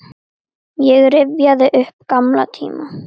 Ég rifjaði upp gamla tíma.